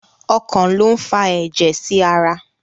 Ọkàn lo n fà ẹjẹ sí ará